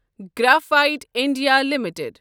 graphite India limited